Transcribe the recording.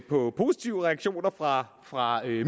på positive reaktioner fra fra